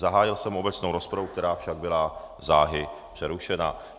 Zahájil jsem obecnou rozpravu, která však byla záhy přerušena.